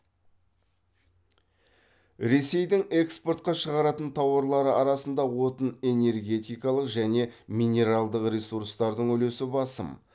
ресейдің экспортқа шығаратын тауарлары арасында отын энергетикалық және минералдық ресурстардың үлесі басым